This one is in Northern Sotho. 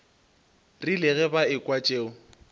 rile ge ba ekwa tšeo